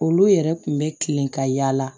Olu yɛrɛ kun bɛ kilen ka yaala